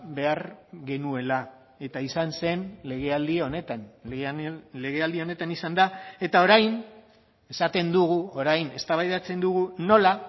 behar genuela eta izan zen legealdi honetan legealdi honetan izan da eta orain esaten dugu orain eztabaidatzen dugu nola